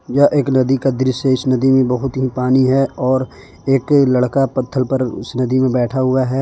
यह एक नदी का दृश्य है इस नदी में बहुत ही पानी है और एक लड़का पत्थल पर उस नदी में बैठा हुआ है।